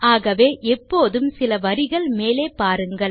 ஆகவே எப்போதும் சில வரிகள் மேலே பாருங்கள்